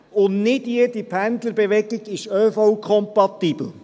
Und nicht jede Pendlerbewegung ist ÖV-kompatibel.